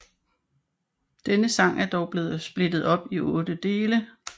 Denne sang er dog blevet splittet op i otte dele